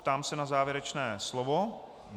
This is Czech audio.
Ptám se na závěrečné slovo.